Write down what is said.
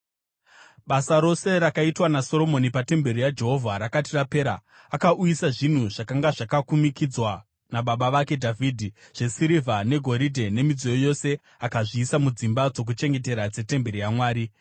Basa rose rakaitwa naSoromoni patemberi yaJehovha rakati rapera, akauyisa zvinhu zvakanga zvakakumikidzwa nababa vake Dhavhidhi, zvesirivha negoridhe nemidziyo yose akazviisa mudzimba dzokuchengetera dzetemberi yaMwari.